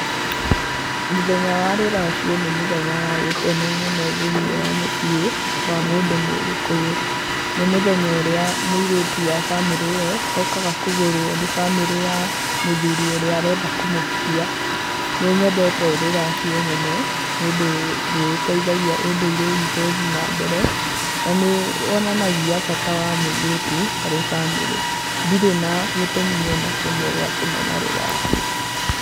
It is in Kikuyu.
Mũthenya wa rũracio nĩ mũthenya wa gĩkeno mũno thĩinĩ wa mũciĩ wa mũndũ mũgĩkũyũ, nĩ mũthenya ũrĩa mũirĩtu wa bamĩrĩ ĩyo okaga kũgũrwo nĩ bamĩrĩ ya mũthuri ũrĩa ũrenda kũmũhikia, nĩnyendete rũracio mũno, niũndũ nĩ rũteithagia ũndũire witũ ũthiĩ na mbere, na nĩ wonanagia bata wa mũirĩtu harĩ bamĩrĩ, ndirĩ na gĩtũmi ona kĩmwe gĩa kũmena rũracio.